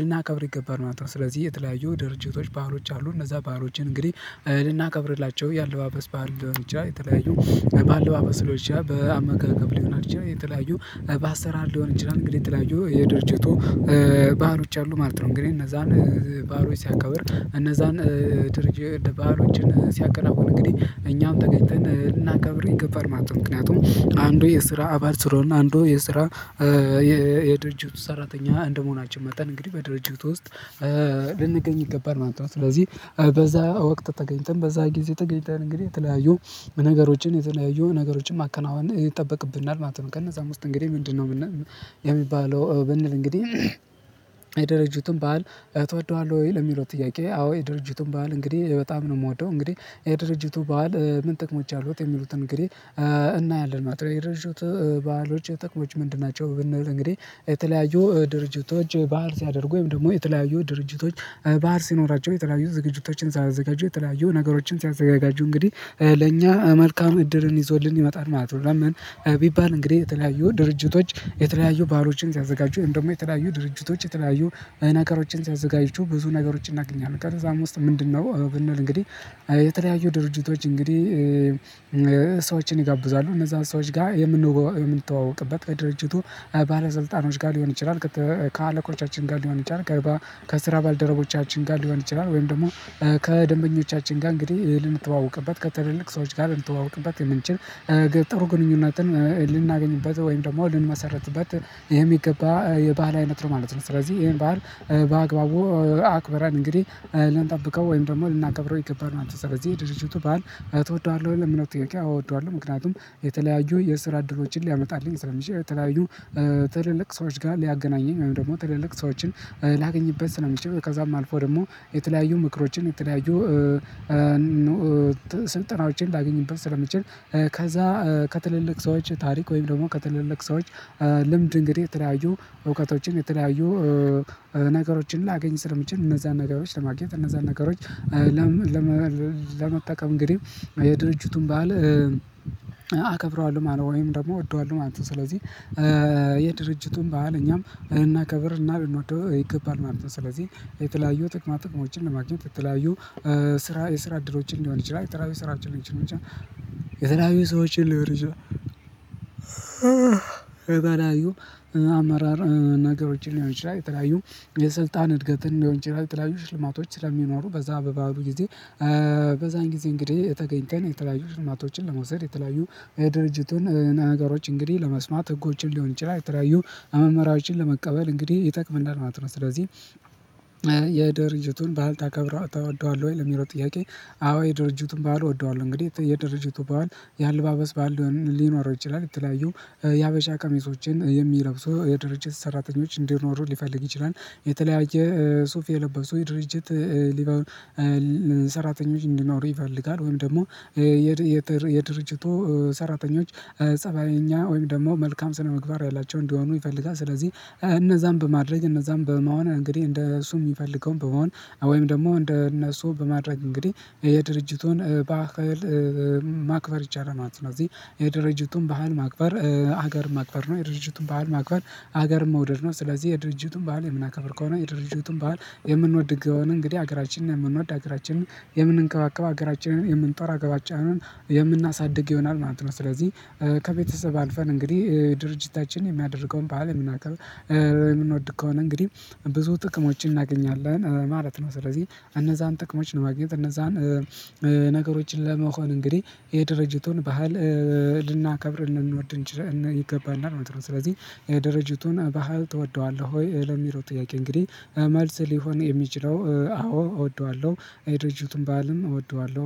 ልናከብር ይገባል ማለት ነው። ስለዚህ የተለያዩ ድርጅቶች ባህሎች አሉ። እነዛ ባህሎችን እንግዲህ ልናከብርላቸው የአለባበስ ባህል ሊሆን ይችላል። የተለያዩ በአለባበስ ሊሆን ይችላል በአመጋገብ ሊሆና ይችላል። የተለያዩ በአሰራር ሊሆን ይችላል። እንግዲህ የተለያዩ የድርጅቱ ባህሎች አሉ ማለት ነው። እንግዲህ እነዛን ባህሎች ሲያከብር እነዛን ድርጅ ባህሎችን ሲያከናውን እንግዲህ እኛም ተገኝተን ልናከብር ይገባል ማለት ነው። ምክንያቱም አንዱ የስራ አባል ስለሆነ አንዱ የስራ የ የድርጅቱ ሰራተኛ እንደመሆናችን መጠን እንግዲህ በድርጅቱ ውስጥ ልንገኝ ይገባል ማለት ነው። ስለዚህ በዛ ወቅት ተገኝተን በዛ ጊዜ ተገኝተን እንግዲህ የተለያዩ ነገሮችን የተለያዩ ነገሮችን ማከናወን ይጠበቅብናል ማለት ነው። ከነዛም ውስጥ እንግዲህ ምንድነው ምን የሚባለው ብንል? እንግዲህ የድር በዓል ትወደዋለህ ወይ ለሚለው ጥያቄ አዎ የድርጅቱን በዓል እንግዲህ በጣም ነው ምወደው። እንግዲህ የድርጅቱ በዓል ምን ጥቅሞች አሉት? የሚሉትን እንግዲህ እናያለን። ማትረሾት ባህሎች የጥቅሞች ምንድን ናቸው ብንል? እንግዲህ የተለያዩ ድርጅቶች በዓል ሲያደርጉ ወይም ደግሞ የተለያዩ ድርጅቶች በዓል ሲኖራቸው የተለያዩ ዝግጅቶችን ሳያዘጋጁ የተለያዩ ነገሮችን ሲያዘጋጁ እንግዲህ ለእኛ መልካም እድልን ይዞልን ይመጣል ማለት ነው። ቢባል እንግዲህ የተለያዩ ድርጅቶች የተለያዩ ባሎችን ሲያዘጋጁ ወይም ደግሞ የተለያዩ ድርጅቶች የተለያዩ ነገሮችን ሲያዘጋጁ ብዙ ነገሮችን እናገኛለን። ከዛም ውስጥ ምንድነው ብንል እንግዲህ የተለያዩ ድርጅቶች እንግዲህ ሰዎችን ይጋብዛሉ እነዛ ሰዎች ጋር የምንተዋወቅበት ከድርጅቱ ባለስልጣኖች ጋር ሊሆን ይችላል። ከአለቆቻችን ጋር ሊሆን ይችላል። ከስራ ባልደረቦቻችን ጋር ሊሆን ይችላል። ወይም ደግሞ ከደንበኞቻችን ጋር እንግዲህ ልንተዋወቅበት ከትልልቅ ሰዎች ጋር ልንተዋወቅበት የምንችል። ጥሩ ግንኙነትን ልናገኝበት ወይም ደግሞ ልንመሰርትበት የሚገባ በዓል አይነት ነው ማለት ነው። ስለዚህ ይሄን በዓል በአግባቡ አክበራን እንግዲህ ልንጠብቀው ወይም ደግሞ ልናከብረው ይገባል። አንተ ስለዚህ ድርጅቱ በዓል ትወደዋለህ ለሚለው ጥያቄ አዎ እወደዋለሁ። ምክንያቱም የተለያዩ የስራ እድሎችን ሊያመጣልኝ ስለሚችል የተለያዩ ትልልቅ ሰዎች ጋር ሊያገናኘኝ ወይም ደግሞ ትለልቅ ሰዎችን ላገኝበት ስለሚችል ከዛም አልፎ ደግሞ የተለያዩ ምክሮችን የተለያዩ ስልጠናዎችን ላገኝበት ስለምችል። ከዛ ከትልልቅ ሰዎች ታሪክ ወይም ደግሞ ከትልልቅ ሰዎች ልምድ እንግዲህ የተለያዩ እውቀቶችን የተለያዩ ነገሮችን ላገኝ ስለምችል። እነዛን ነገሮች ለማግኘት እነዛን ነገሮች ለመጠቀም እንግዲህ የድርጅቱን ባዓል አከብረዋለሁ ማለት ወይም ደግሞ እወደዋለሁ ማለት ነው። ስለዚህ የድርጅቱን በዓል እኛም እናከብር እና ልንወደው ይገባል ማለት ነው። ስለዚህ የተለያዩ ጥቅማ ጥቅሞችን ለማግኘት የተለያዩ ስራ የስራ አድሎችን ሊሆን ይችላል። የተለያዩ ስራችንን ይችላል የትራቢው ሰዎችን ልበርሽው አመራር ነገሮችን ሊሆን ይችላል በተለያዩ የስልጣን እድገትን ሊሆን ይችላል። የተለያዩ ሽልማቶች ስለሚኖሩ በዛ በበዓሉ ጊዜ በዛን ጊዜ እንግዲህ ተገኘን የተለያዩ ሽልማቶችን ለመውሰድ የተለያዩ የድርጅቱን ነገሮች እንግዲህ ለመስማት ህጎችን ሊሆን ይችላል የተለያዩ አመመራዎችን ለመቀበል እንግዲህ ይጠቅመናል ማለት ነው። ስለዚህ የድርጅቱን በዓል ታከብረዋለህ ታወደዋለህ ወይ የሚለው ጥያቄ? አዎ የድርጅቱን ባለው እወደዋለሁ። እንግዲህ የድርጅቱ በዓል የአልባበስ በዓል ሊኖረው ይችላል። የተለያዩ የሀበሻ ቀሚሶችን የሚለብሰው የድርጅት ሰራተኞች እንዲኖሩ ሊፈልግ ይችላል። የተለያየ ሱፍ የለበሱ የድርጅት ሊኖር ሰራተኞች እንዲኖሩ ይፈልጋል። ወይም ደግሞ የድርጅቱ ሰራተኞች ፀባየኛ ወይም ደግሞ መልካም ስነምግባር ያላቸው እንዲሆኑ ይፈልጋል። ስለዚህ እነዛን በማድረግ እነዛን በመሆን እንግዲህ እንደሱ የሚፈልገውን በመሆን ወይም ደግሞ እንደነሱ በማድረግ እንግዲህ የድርጅቱን በዓል ማክፈር ይቻላል ማለት ነው። እዚህ የድርጅቱን ባህል ማክበር ሀገር ማክበር ነው። የድርጅቱን በዓል ማክበር ሀገር መውደድ ነው። ስለዚህ የድርጅቱን በዓል የምናከብር ከሆነ የድርጅቱን በዓል የምንወድ እግዚአብሔርን እንግዲህ ሀገራችንን የምንወድ ሀገራችንን የምንንቀባቀብ ሀገራችንን የምንጠራ ገባጫንን የምናሳድግ ይሆናል ማለት ነው። ስለዚህ ከቤተሰብ አልፈን እንግዲህ ድርጅታችን የሚያደርገውን በዓል የምናከብ የምንወድ ከሆነ እንግዲህ ብዙ ጥቅሞችን እናገኛለን ማለት ነው። ስለዚህ እነዛን ጥቅሞች ነው ማግኘት እነዛን ነገሮችን ለመሆን እንግዲህ የድርጅቱን ባህል እህ ልናከብር እንድንወድ ይገባናል ማለት ነው። ስለዚህ የደረጃቱን ባህል ትወደዋለህ ወይ ለሚለው ጥያቄ? እንግዲህ መልስ ሊሆን የሚችለው አዎ እወደዋለሁ። የድርጅቱን ባልም እወደዋለሁ